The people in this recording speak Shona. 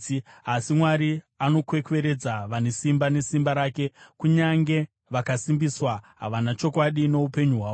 Asi Mwari anokwekweredza vane simba nesimba rake; kunyange vakasimbiswa, havana chokwadi noupenyu hwavo.